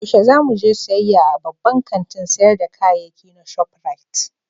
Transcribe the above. Yaushe za mu je siyayya a babban kantin sayar da kayayyaki na Shop Rite?